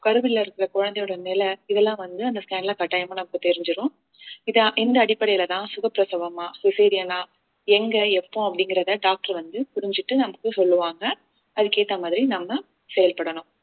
கருவில் இருக்கிற குழந்தையோட நிலை இதெல்லாம் வந்து அந்த scan ல கட்டாயமா நமக்கு தெரிஞ்சிரும் இது இந்த அடிப்படையிலதான் சுகப்பிரசவமா cesarean ஆ எங்க எப்போ அப்படிங்கிறதை doctor வந்து புரிஞ்சிட்டு நமக்கு சொல்லுவாங்க அதுக்கு ஏத்த மாதிரி நம்ம செயல்படணும்